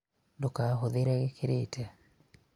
ndũkahũthĩre gĩkĩrĩte